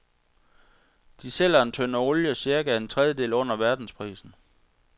De sælger en tønde olie cirka en tredjedel under verdensprisen.